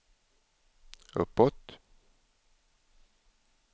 uppåt